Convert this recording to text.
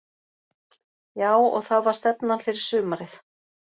Já og það var stefnan fyrir sumarið.